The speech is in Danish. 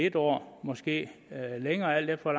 en år måske længere alt efter